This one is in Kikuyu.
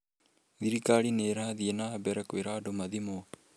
Thirikari nĩ ĩrathiĩ na mbere kwĩra andũ mathimwo.